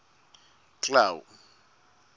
clau